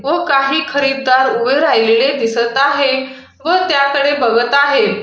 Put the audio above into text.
व काही खरेदी करत उभे राहिलेले दिसत आहे व त्याकडे बघत आहे.